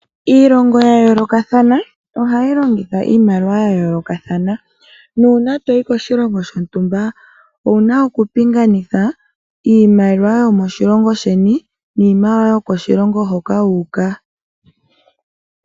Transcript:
Iilongo ya yoolokathana ohayi longitha iimaliwa ya yoolokathana, nuuna toyi koshilongo shilwe owuna oku pingakanitha iimaliwa yomoshilongo sheni niimaliwa yokoshilongo hoka wu uka.